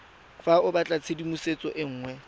fa o batlatshedimosetso e nngwe